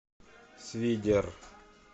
свидер